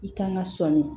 I kan ka sɔni